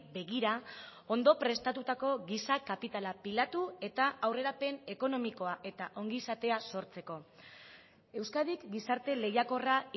begira ondo prestatutako giza kapitala pilatu eta aurrerapen ekonomikoa eta ongizatea sortzeko euskadik gizarte lehiakorra